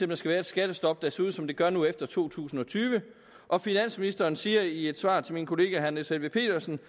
der skal være et skattestop der ser ud som det gør nu efter to tusind og tyve og finansministeren siger i et svar til min kollega herre niels helveg petersen